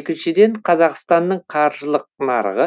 екіншіден қазақстанның қаржылық нарығы